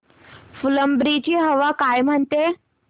फुलंब्री ची हवा काय म्हणते